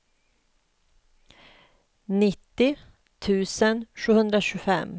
nittio tusen sjuhundratjugofem